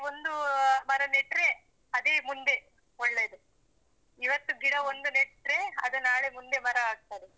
ಒಂದು ಅಹ್ ಮರ ನೆಟ್ರೆ ಅದೇ ಮುಂದೆ ಒಳ್ಳೆದು. ಇವತ್ತು ಗಿಡ ಒಂದು ನೆಟ್ರೆ ಅದು ನಾಳೆ ಮುಂದೆ ಮರ ಆಗ್ತದೆ.